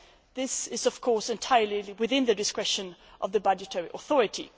This is, of course, entirely within the discretion of the budgetary authority.